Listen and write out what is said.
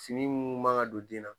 Fini munnu man ka don den na.